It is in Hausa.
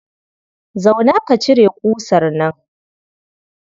Zauna ka cire ƙusar nan.